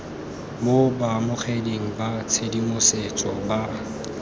mo baamogeding ba tshedimosetso ba